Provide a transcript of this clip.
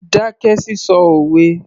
Dákẹ́ sísọ òwe